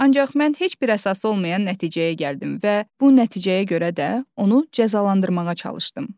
Ancaq mən heç bir əsası olmayan nəticəyə gəldim və bu nəticəyə görə də onu cəzalandırmağa çalışdım.